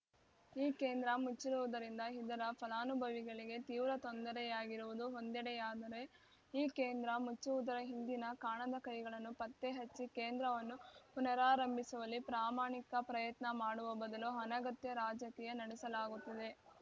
ಈ ಕೇಂದ್ರ ಮುಚ್ಚಿರುವುದರಿಂದ ಇದರ ಫಲಾನುಭವಿಗಳಿಗೆ ತೀವ್ರ ತೊಂದರೆಯಾಗಿರುವುದು ಒಂದೆಡೆಯಾದರೆ ಈ ಕೇಂದ್ರ ಮುಚ್ಚುವುದರ ಹಿಂದಿನ ಕಾಣದ ಕೈಗಳನ್ನು ಪತ್ತೆ ಹಚ್ಚಿ ಕೇಂದ್ರವನ್ನು ಪುನರಾರಂಭಿಸುವಲ್ಲಿ ಪ್ರಾಮಾಣಿಕ ಪ್ರಯತ್ನ ಮಾಡುವ ಬದಲು ಅನಗತ್ಯ ರಾಜಕೀಯ ನಡೆಸಲಾಗುತ್ತಿದೆ